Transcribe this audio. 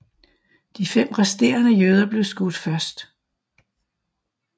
De fem resterende jøder blev skudt først